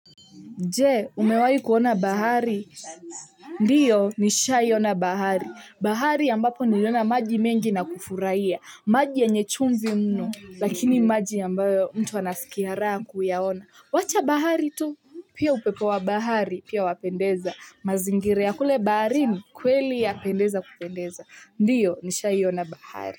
Je, umewahi kuona bahari. Ndio, nisha'i ona bahari. Bahari ambapo ni liona maji mengi na kufuraia. Maji yenye chunvi mno, lakini maji ambayo mtu anaskia raha kuyaona. Wacha bahari tu. Pia upepo wa bahari, pia wapendeza. Mazingira ya kule baharin. Kweli yapendeza, kupendeza. Ndio, nisha'i ona bahari.